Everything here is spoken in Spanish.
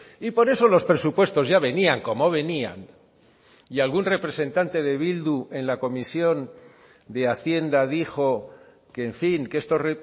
y por eso los presupuestos ya venían como venían y algún representante de bildu en la comisión de hacienda dijo que en fin que estos